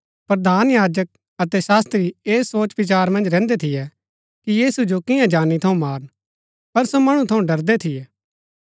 प्रधान याजक अतै शास्त्री ऐस सोचविचार मन्ज रैहन्दै थियै कि यीशु जो कियां जानी थऊँ मारन पर सो मणु थऊँ डरदै थियै